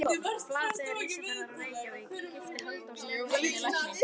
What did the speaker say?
Flateyri, Ísafirði og í Reykjavík, gift Halldóri Stefánssyni lækni.